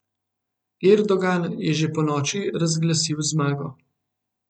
Erdogan je že ponoči razglasil zmago.